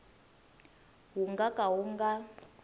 wu nga ka wu nga